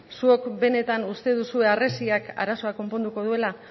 zuek benetan uste duzue harresiak arazoa konponduko duela